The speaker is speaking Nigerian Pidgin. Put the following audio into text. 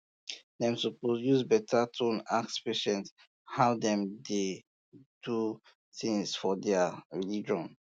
dem suppose um use beta tone ask patients how dem dey do things for their um religion